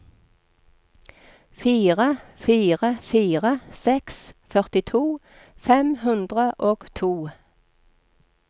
fire fire fire seks førtito fem hundre og to